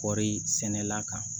Kɔɔri sɛnɛla kan